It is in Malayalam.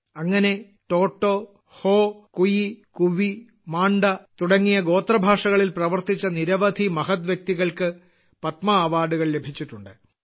അങ്ങനെ ടോട്ടോ ഹോ കുയി കുവി മാണ്ടാ തുടങ്ങിയ ഗോത്രഭാഷകളിൽ പ്രവർത്തിച്ച നിരവധി മഹത് വ്യക്തികൾക്ക് പത്മാ അവാർഡുകൾ ലഭിച്ചിട്ടുണ്ട്